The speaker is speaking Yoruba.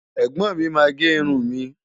Ẹ̀gbọ́n mi máa gé irun mi.